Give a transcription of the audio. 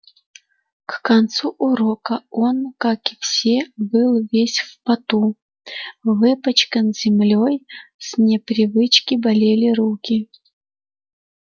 к концу урока он как и все был весь в поту выпачкан землёй с непривычки болели руки